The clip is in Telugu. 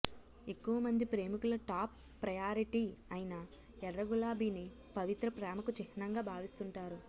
ఎక్కవ మంది ప్రేమికుల టాప్ ప్రయారిటీ అయిన ఎర్ర గులాబీని పవిత్ర ప్రేమకు చిహ్నంగా భావిస్తుంటారు